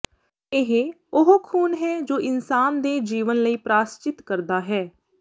ਇਹ ਉਹ ਖ਼ੂਨ ਹੈ ਜੋ ਇਨਸਾਨ ਦੇ ਜੀਵਨ ਲਈ ਪ੍ਰਾਸਚਿਤ ਕਰਦਾ ਹੈ